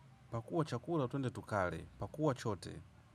Pakua chakula twende tukale, pakua chote.